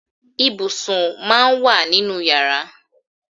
Ibùsùn máà ń wà nínú yàrá.